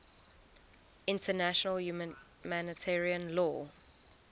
international humanitarian law